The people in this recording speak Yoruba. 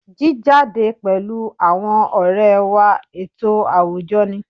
Jíjáde pẹ̀lú àwọn ọ̀rẹ́ wá ètò àwùjọ ni